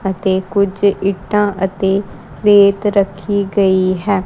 ਅਤੇ ਕੁਝ ਇੱਟਾਂ ਅਤੇ ਰੇਤ ਰੱਖੀ ਗਈ ਹੈ।